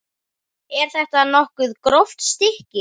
Er þetta nokkuð gróft stykki?